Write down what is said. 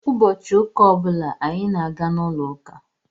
Ụbọchị ụka ọ bụla anyị na-aga n'ụlọ uka.